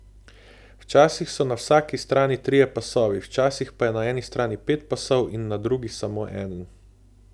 Včasih so na vsaki strani trije pasovi, včasih pa je na eni strani pet pasov in na drugi samo eden.